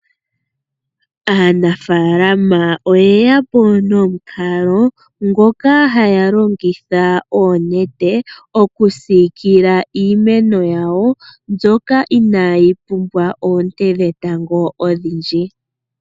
Aanafalama oye yapo nomukalo ngoka haya longitha onete okusiikila iimeno yawo mbyoka inayi pumbwa oonte dhetango odhindji.